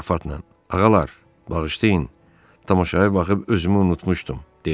Ağalar, bağışlayın, tamaşaya baxıb özümü unutmuşdum, dedi.